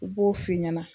U b'o f'i ɲɛna